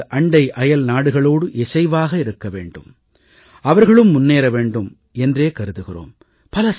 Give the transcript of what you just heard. நமது அண்டை அயல் நாடுகளோடு இசைவாக இருக்க வேண்டும் அவர்களும் முன்னேற வேண்டும் என்றே கருதுகிறோம்